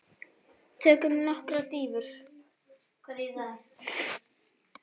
Tökum nokkrar dýfur!